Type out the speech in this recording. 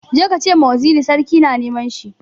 Je ka ce ma waziri sarki na neman shi!